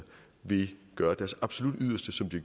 vil gøre deres absolut yderste som de